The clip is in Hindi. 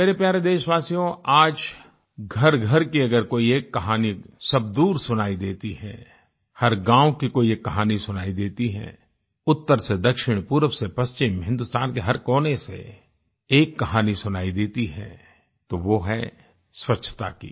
मेरे प्यारे देशवासियो आज घरघर की अगर कोई एक कहानी सब दूर सुनाई देती है हर गाँव की कोई एक कहानी सुनाई देती है उत्तर से दक्षिण पूर्व से पश्चिम हिंदुस्तान के हर कोने से एक कहानी सुनाई देती है तो वो है स्वच्छता की